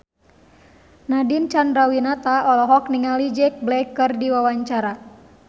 Nadine Chandrawinata olohok ningali Jack Black keur diwawancara